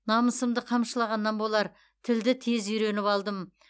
намысымды қамшылағаннан болар тілді тез үйреніп алдым